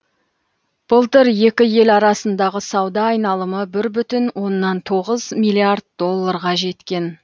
былтыр екі ел арасындағы сауда айналымы бір бүтін оннан тоғыз миллиард долларға жеткен